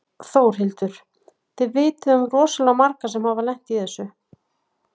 Þórhildur: Þið vitið um rosalega marga sem hafa lent í þessu?